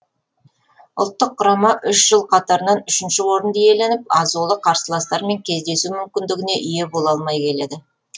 ұлттық құрама үш жыл қатарынан үшінші орынды иеленіп азулы қарсыластармен кездесу мүмкіндігіне ие бола алмай келеді